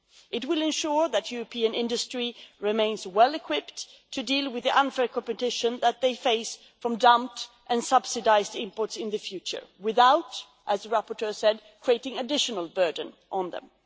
It will ensure that European industries remain well equipped to deal with the unfair competition they may face from dumped and subsidised imports in the future, without, as the rapporteur said, placing an additional burden on them.